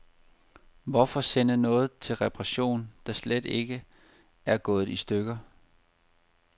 Hvorfor sende noget til reparation, der slet ikke er gået i stykker.